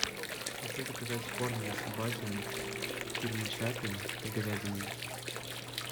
хочу заказать корм для собаки фирмы чаппи с говядиной